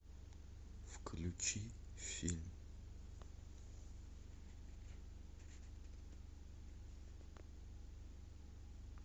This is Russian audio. включи фильм